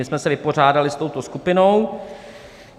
My jsme se vypořádali s touto skupinou.